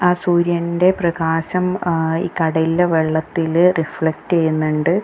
ആ സൂര്യൻ്റെ പ്രകാശം ആ ഈ കടലിലെ വെള്ളത്തില് റിഫ്ലെക്ട് ചെയ്യുന്നുണ്ട്.